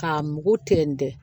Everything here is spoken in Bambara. K'a mugu tɛntɛn